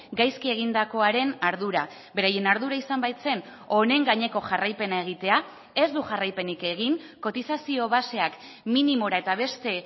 gaizki egindakoaren ardura beraien ardura izan baitzen honen gaineko jarraipena egitea ez du jarraipenik egin kotizazio baseak minimora eta beste